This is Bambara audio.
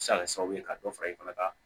Se ka kɛ sababu ye ka dɔ fara i fana ka